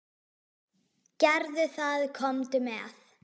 Gerðu það, komdu með.